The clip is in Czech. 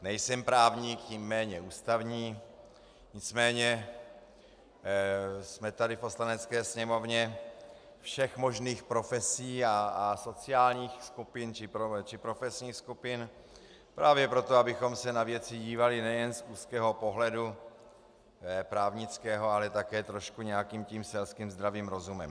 Nejsem právník, tím méně ústavní, nicméně jsme tady v Poslanecké sněmovně všech možných profesí a sociálních skupin či profesních skupin právě proto, abychom se na věci dívali nejen z úzkého pohledu právnického, ale také trošku nějakým tím selským zdravým rozumem.